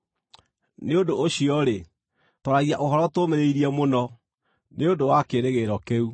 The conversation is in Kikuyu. Nĩ ũndũ ũcio-rĩ, twaragia ũhoro tũũmĩrĩirie mũno, nĩ ũndũ wa kĩĩrĩgĩrĩro kĩu.